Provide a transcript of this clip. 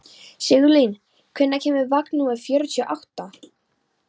Sigurlín, hvenær kemur vagn númer fjörutíu og átta?